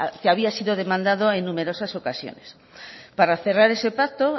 que había sido demandado en numerosas ocasiones para cerrar ese pacto